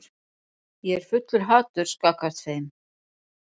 Ég er fullur haturs gagnvart þeim.